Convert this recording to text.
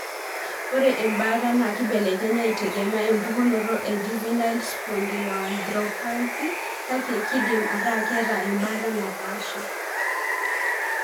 Ore embaata na kibelekenya itegemea opukunoto e juvenile spondyloarthropathy kake kindim ataa keeta embaata napsha